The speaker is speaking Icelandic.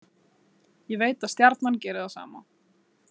Ég veit að Stjarnan gerir það sama.